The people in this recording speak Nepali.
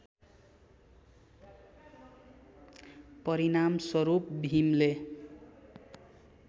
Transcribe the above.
परिणामस्वरूप भीमले